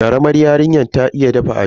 Karamar yarinyar ta iya dafa abinci.